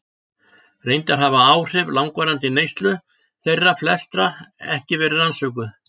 Reyndar hafa áhrif langvarandi neyslu þeirra flestra ekki verið rannsökuð.